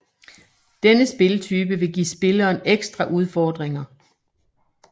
Denne spiltype vil give spilleren ekstra udfordringer